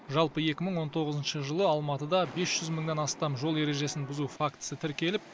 жалпы екі мың он тоғызыншы жылы алматыда бес жүз мыңнан астам жол ережесін бұзу фактісі тіркеліп